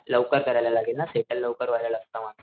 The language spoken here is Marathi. लवकर करायला लागेल ना सेटल लवकर होयला लागत म,